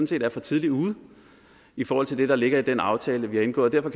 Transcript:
set er for tidligt ude i forhold til det der ligger i den aftale vi har indgået og